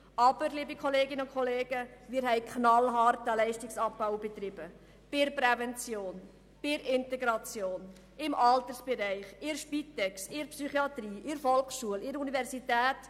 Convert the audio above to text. Aber, wir haben einen knallharten Leistungsabbau betrieben: bei der Prävention, bei der Integration, im Altersbereich, bei der Spitex, in der Psychiatrie, in der Volksschule, bei der Universität.